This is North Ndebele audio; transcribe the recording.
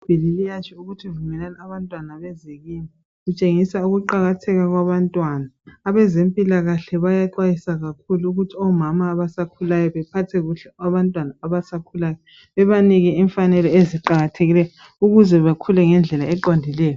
Ibhayibhili liyatsho ukuthi vumelani abantwana beze kimi litshengisa ukuqakatheka kwabantwana, abezempilakhle bayaxwayisa kakhulu ukuthi omama abasakhulayo ukuthi bephathe kuhle abantwana abasakhulayo, bebanike imfanelo eziqakathekileyo ukuze bakhule ngendlela eqondileyo